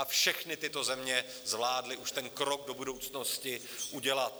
A všechny tyto země zvládly už ten krok do budoucnosti udělat.